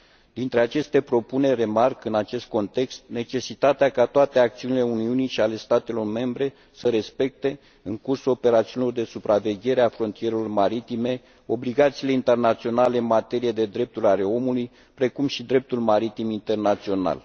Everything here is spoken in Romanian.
Printre aceste propuneri remarc, în acest context, necesitatea ca toate acțiunile Uniunii și ale statelor membre să respecte, în cursul operațiunilor de supraveghere a frontierelor maritime, obligațiile internaționale în materie de drepturi ale omului, precum și dreptul maritim internațional.